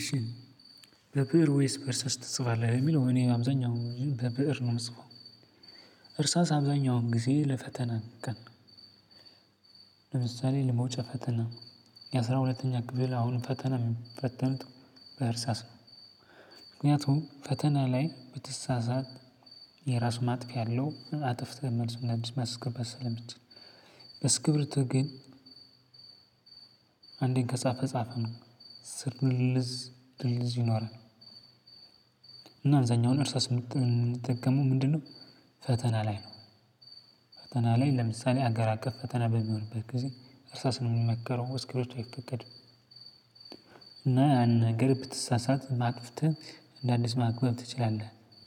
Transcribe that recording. እሺ በብእር ወይስ በእርሳስ ትጽፋለህ የሚለው እኔ አብዛኛው በብእር ነው የምጽፈው። እርሳስ አብዛኛውን ጊዜ ለፈተና ቀን። ለምሳሌ ለመውጨ ፈተና የአስራ ሁለተኛ ክፍል አሁን ፈተና የሚፈተኑት በእርሳስ ነው። ምክንያቱም ፈተና ላይ ብትሳሳት የራሱ ማጥፊያ አለው አጥፍተህ መልስ እንደአዲስ ማስገባት ስለምችል። ግን አንዴን ከጻፈ ጻፈ ነው። ስር ልልዝ ድልዝ ይኖራል። እና አብዛኛውን እርሳስ የምንጠቀመው ምንድነው? ፈተና ላይ ነው። ፈተና ላይ ለምሳሌ አገር አቀፍ ፈተና በሚሆንበት ጊዜ እርሳስ ነው የሚመከረው እስኪቢርቶ አይፈቀድም። እና አንድ ነገር ብትሳሳት አጥፍተህ እንደ አዲስ ማክበብ